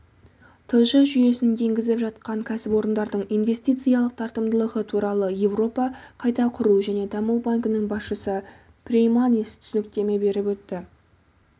тж жүйесін енгізіп жатқан кәсіпорындардың инвестициялық тартымдылығы туралы еуропа қайта құру және даму банкінің басшысы прейманис түсініктеме беріп өтті